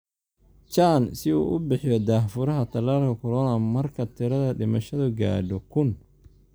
Chan si uu u bixiyo daah-furaha tallaalka corona marka tirada dhimashadu gaadho 1000